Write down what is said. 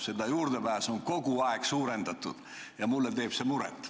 Seda juurdepääsu on kogu aeg laiendatud ja mulle teeb see muret.